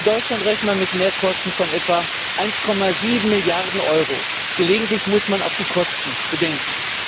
Für Deutschland rechnen wir mit Mehrkosten von etwa 1,7 Milliarden Euro. Gelegentlich muss man auch die Kosten bedenken.